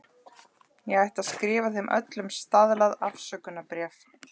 Ég ætti að skrifa þeim öllum staðlað afsökunarbréf.